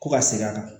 Ko ka segin a kan